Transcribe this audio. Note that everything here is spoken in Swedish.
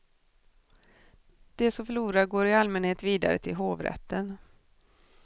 De som förlorar går i allmänhet vidare till hovrätten.